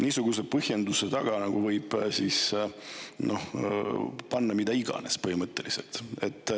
Niisuguse põhjendusega võib põhimõtteliselt panna mida iganes.